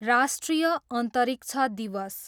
राष्ट्रिय अन्तरिक्ष दिवस